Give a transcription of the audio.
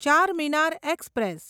Charminar express